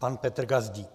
Pan Petr Gazdík.